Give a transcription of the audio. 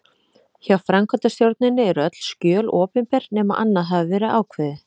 Hjá framkvæmdastjórninni eru öll skjöl opinber nema annað hafi verið ákveðið.